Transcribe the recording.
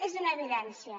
és una evidència